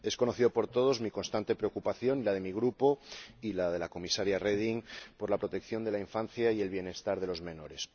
Son conocidas por todos mi constante preocupación, la de mi Grupo y la de la Comisaria Reding por la protección de la infancia y el bienestar de los menores.